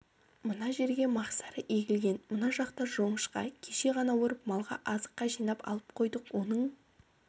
мына жерге мақсары егілген мына жақта жоңышқа кеше ғана орып малға азыққа жинап алып қойдық оның